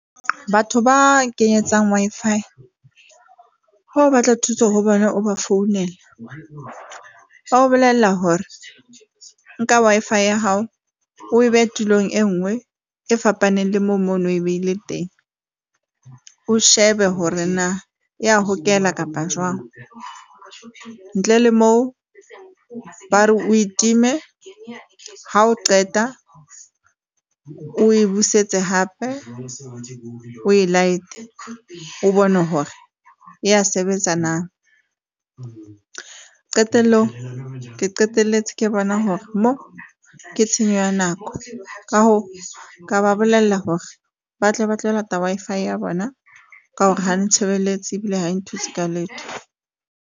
Batho ba kenyetsang Wi-Fi ha o batla thuso ho bona, o ba founela, ba o bolella hore nka Wi-Fi ya hao o behe tulong e nngwe e fapaneng le moo o no o e behile teng, o shebe hore na ya hokela kapa jwang ntle le moo bare o e time. Ha o qeta o e busetse hape o e light-e, o bone hore ya sebetsa na. Qetellong, ke qeteletse ke bona hore mo ke tshenyo ya nako ka hoo, ka ba bolella hore ba tle ba tlo lata Wi-Fi ya bona ka hore ha ntshebeletse ebile ha e nthuse ka letho.